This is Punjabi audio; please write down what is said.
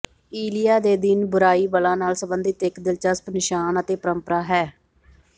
ਈਲਿਆ ਦੇ ਦਿਨ ਬੁਰਾਈ ਬਲਾਂ ਨਾਲ ਸਬੰਧਿਤ ਇਕ ਦਿਲਚਸਪ ਨਿਸ਼ਾਨ ਅਤੇ ਪਰੰਪਰਾ ਹੈ